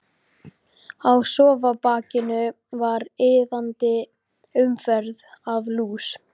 Á sófabakinu var iðandi umferð af lús.